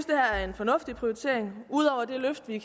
det her er en fornuftig prioritering udover det løft vi